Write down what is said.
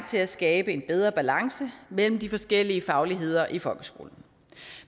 til at skabe en bedre balance mellem de forskellige fagligheder i folkeskolen